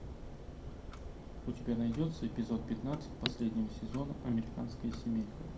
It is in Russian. у тебя найдется эпизод пятнадцать последнего сезона американская семейка